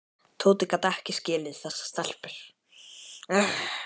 Tóti gat ekki skilið þessar stelpur.